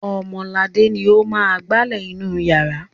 Ọmọladé ni ó máa ń gbálẹ̀ inú ìyàrá.